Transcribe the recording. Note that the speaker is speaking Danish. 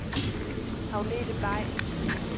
Agnethe Bay